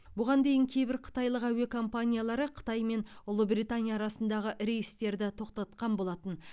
бұған дейін кейбір қытайлық әуе компаниялары қытай мен ұлыбритания арасындағы рейстерді тоқтатқан болатын